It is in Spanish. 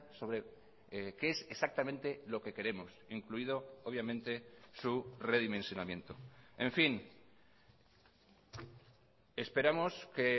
sobre qué es exactamente lo que queremos incluido obviamente su redimensionamiento en fin esperamos que